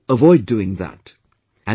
So, avoid doing that